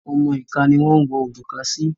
Ọmọ ìka ni wọ́n ń wọ òrùka sí.